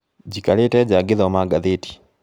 Njikarĩte nja ngĩthoma ngathĩti